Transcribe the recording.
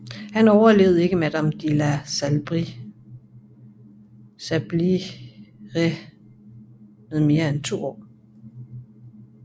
Han overlevede ikke madame de la Sablière med mere end to år